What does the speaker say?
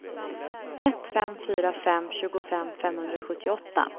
ett fem fyra fem tjugofem femhundrasjuttioåtta